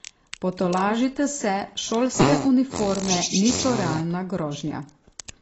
Potolažite se, šolske uniforme niso realna grožnja.